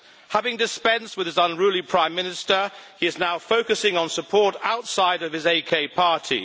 Having dispensed with his unruly Prime Minister, he is now focusing on support outside of his AK Party.